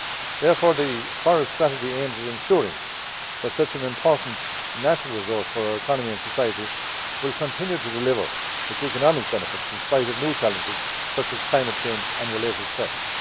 Therefore the forest strategy aims to ensure that such an important natural resource for our economy and society will continue to deliver its economic benefits in spite of new challenges such as climate change and related threats.